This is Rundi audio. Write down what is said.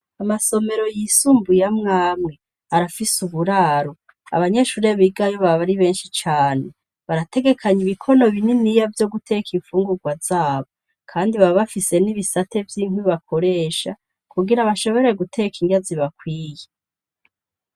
Amasomero yisumbuye amwamwe, arafise uburaro. Abanyeshure bigayo baba ari benshi cane. Barategekanya ibikono bininiya vyo guteka infungurwa zabo, kandi baba bafise n'ibisate vy'inkwi bakoresha kugira bashobore guteka indya zibakwiye.